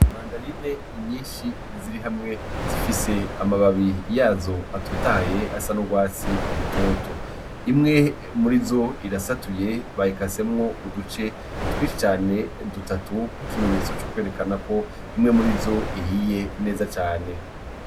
Mandarine nyinshi ziri hamwe zifise amababi yazo atotahaye asa n’urwatsi rutoto. Imwe muri zo irasatuye bayikasemwo uduce twinshi cane dutatu nk’ikimenyetso co kwerekana ko imwe muri zo ihiye neza cane.